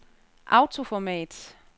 autoformat